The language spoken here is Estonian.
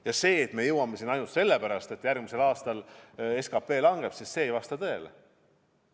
Ja see, et me jõuame selleni ainult sellepärast, et järgmisel aastal SKP langeb, ei vasta tõele.